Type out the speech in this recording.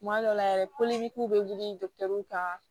Kuma dɔw la yɛrɛ bɛ wuli kan